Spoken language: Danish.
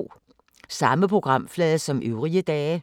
Samme programflade som øvrige dage